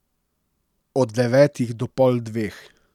Od devetih do pol dveh.